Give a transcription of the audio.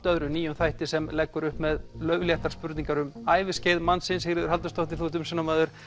öðru nýjum þætti sem leggur upp með laufléttar spurningar um æviskeið mannsins Sigríður Halldórsdóttir þú ert umsjónarmaður